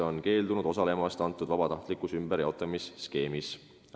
Need maad on keeldunud vabatahtlikult ümberjaotamisskeemis osalemast.